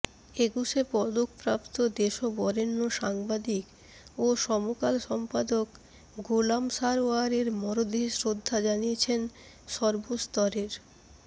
একুশে পদকপ্রাপ্ত দেশবরেণ্য সাংবাদিক ও সমকাল সম্পাদক গোলাম সারওয়ারের মরদেহে শ্রদ্ধা জানিয়েছেন সর্বস্তরের